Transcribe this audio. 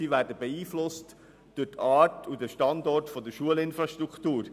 Sie werden beeinflusst durch die Art und den Standort der Schulinfrastruktur.